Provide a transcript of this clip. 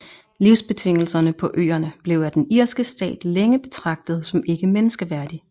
Livsbetingelserne på øerne blev af den irske stat længe betragtet som ikke menneskeværdig